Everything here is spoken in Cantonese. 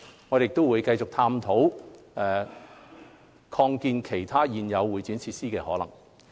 我們亦會繼續探討擴建其他現有會展設施的可能性。